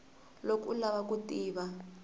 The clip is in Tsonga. loko u lava ku tiva